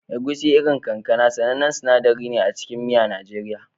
Egusi, irin kankana, sanannen sinadari ne a cikin miya na Najeriya.